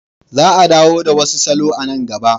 Za a dawo da wasu salon a nan gaba.